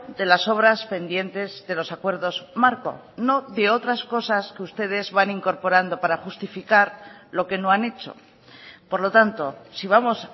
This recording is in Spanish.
de las obras pendientes de los acuerdos marco no de otras cosas que ustedes van incorporando para justificar lo que no han hecho por lo tanto si vamos